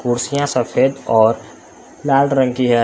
कुर्सियां सफेद और लाल रंग की हैं।